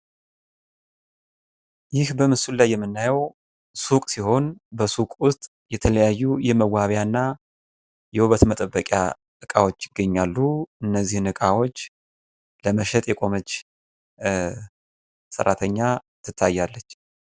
ይህ በምስሉ ላይ የምናየው ሱቅ ሲሆን በሱቁ ውስጥ የተለያዩ የመዋቢያና የውበት መጠበቂያ እቃዎች ይገኛሉ። እነዚህን ዕቃዎች ለመሸጥ የቆመች ሰራተኛ ትታያለች።